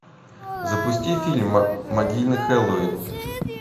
запусти фильм могильный хэллоуин